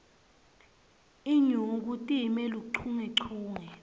inyuku time luchungechunge